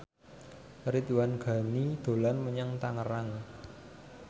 Ridwan Ghani dolan menyang Tangerang